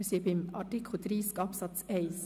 Wir befinden uns bei Artikel 30 Absatz 1.